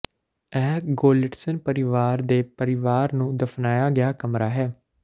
ਇਹ ਗੋਲੀਟਸਨ ਪਰਿਵਾਰ ਦੇ ਪਰਿਵਾਰ ਨੂੰ ਦਫਨਾਇਆ ਗਿਆ ਕਮਰਾ ਹੈ